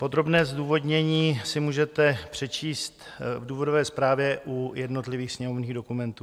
Podrobné zdůvodnění si můžete přečíst v důvodové zprávě u jednotlivých sněmovních dokumentů.